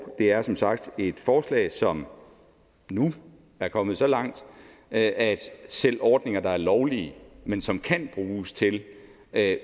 det er som sagt et forslag som nu er kommet så langt at selv ordninger der er lovlige men som kan bruges til at